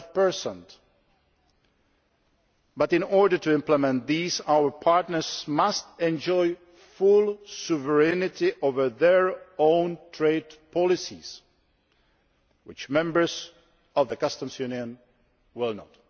12. But in order to implement these our partners must enjoy full sovereignty over their own trade policies, which members of the Customs Union will not.